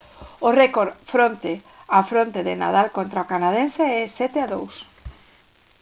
o récord fronte a fronte de nadal contra o canadense é 7-2